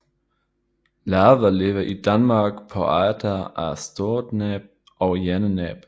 Larven lever i Danmark på arter af storkenæb og hejrenæb